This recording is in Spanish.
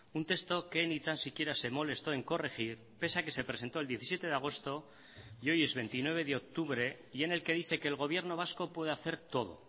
un texto que ni tan siquiera se molestó en corregir pese a que se presentó el diecisiete de agosto y hoy es veintinueve de octubre y en el que dice que el gobierno vasco puede hacer todo